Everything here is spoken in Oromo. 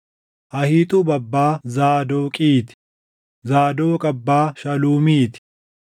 Ahiixuub abbaa Zaadoqii ti; Zaadoq abbaa Shaluumii ti;